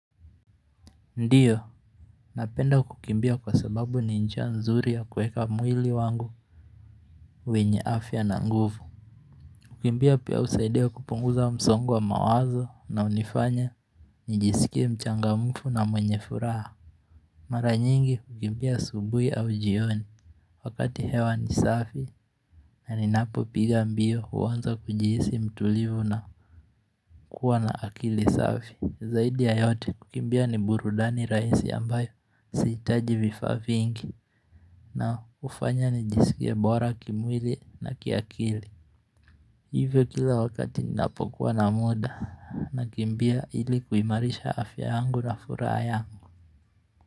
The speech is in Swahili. Ndiyo napenda kukimbia kwa sababu ni njia nzuri ya kueka mwili wangu wenye afya na nguvu kukimbia pia husaidia kupunguza wa msongo wa mawazo na hunifanya nijisikie mchangamfu na mwenye furaha mara nyingi kukimbia asubuhi au jioni wakati hewa ni safi na ninapopiga mbio huanza kujihisi mtulivu na kuwa na akili safi zaidi ya yote kukimbia ni burudani rahisi ambayo sihitaji vifaa vingi na hufanya nijisikie bora kimwili na kiakili Hivyo kila wakati ninapokuwa na muda nakimbia ili kuimarisha afya angu na furaha yangu.